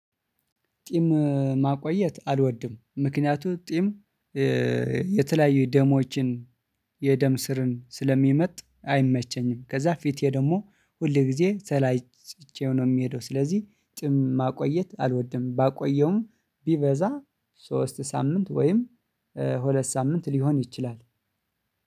ጢም ማቆየት አልወድም። ምክንያቱም ጢም የተለያዩ ደሞችን የደም ስር ስለሚመጥ አይመቸኝም። ከዛ ፊት ደግሞ ሁል ጊዜ ተላጭቼው ነው የምሀደው ስለዚህ ጢም ማቆየት አልወድም። ባቆየውም ቢበዛ ሶስት ሳምንት ወይም ሁለት ሳምንት ሊሆን ይችላል።